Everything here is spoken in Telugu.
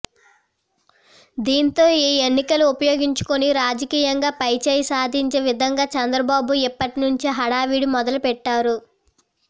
దీంతో ఈ ఎన్నికలు ఉపయోగించుకుని రాజకీయంగా పై చేయి సాధించే విధంగా చంద్రబాబు ఇప్పటి నుంచే హడావుడి మొదలు పెట్టారు